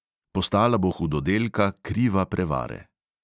Postala bo hudodelka, kriva prevare.